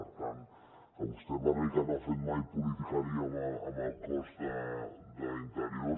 per tant que vostè parli que no ha fet mai politiqueria amb el cos d’interior